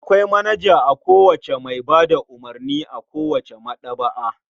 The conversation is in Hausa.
Akwai manaja a kowace mai ba da umurni a kowace maɗaba'a.